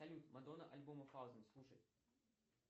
салют мадонна альбома фаузен слушать